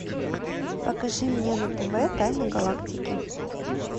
покажи мне на тв тайны галактики